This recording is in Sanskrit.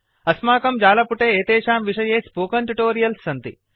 अस्माकं जालपुटे एतेषां विषये स्पोकेन ट्यूटोरियल्स् सन्ति